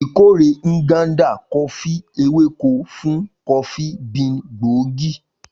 Ikore Nganda Kofi eweko fun kofi bean gbóògì.